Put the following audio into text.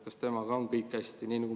Kas temaga on kõik hästi?